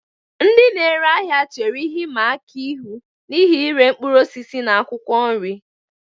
Ndị na-ere ahịa chere ihe ịma aka ihu n'ihi ire mkpụrụ osisi na akwụkwọ nri.